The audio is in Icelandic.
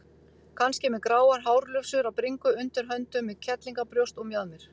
Kannski með gráar hárlufsur á bringu, undir höndum, með kellíngabrjóst og mjaðmir.